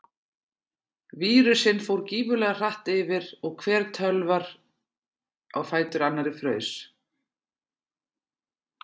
Vírusinn fór gífurlega hratt yfir og hver tölvar á fætur annari fraus.